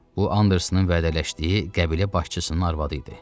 Bu Andersonun vədələşdiyi qəbilə başçısının arvadı idi.